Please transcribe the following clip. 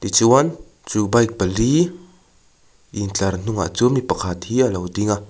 ti chuan chu bike pali intlar hnungah chuan mi pakhat hi alo ding a.